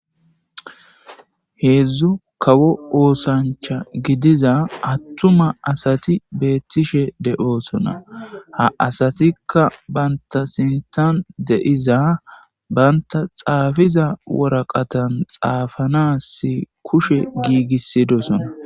heedzdzu kawo oosancha gidiza attuma asati beettishe de7oosona ha asatikka banta sintan deyiza banta xaafiza woraqatan xaafanas kushe giigisidosona